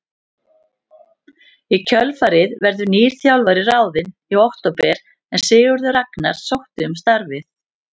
Í kjölfarið verður nýr þjálfari ráðinn í október en Sigurður Ragnar sótti um starfið.